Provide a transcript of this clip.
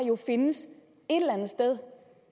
jo findes et eller andet sted